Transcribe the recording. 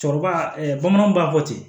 Cɛkɔrɔba bamananw b'a fɔ ten